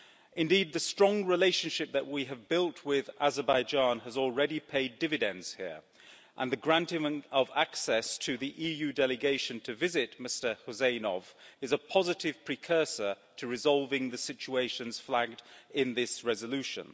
Indeed, the strong relationship that we have built with Azerbaijan has already paid dividends here, and the granting of access to the EU delegation to visit Mr Huseynov is a positive precursor to resolving the situations flagged in this resolution.